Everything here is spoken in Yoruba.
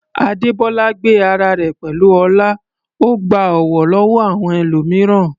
Adebola gbé ara rẹ̀ pẹ̀lú ọlá, ó gba ọ̀wọ̀ lọ́wọ́ àwọn ẹlòmíràn.